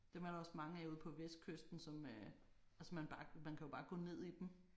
Dem er der også mange af ude på vestkysten som øh altså man bare man kan jo bare gå ned i dem